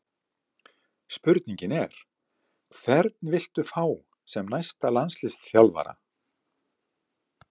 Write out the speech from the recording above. Spurningin er: Hvern vilt þú fá sem næsta landsliðsþjálfara?